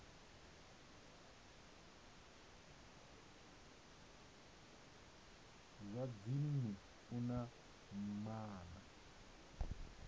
zwa dzinnu u na maana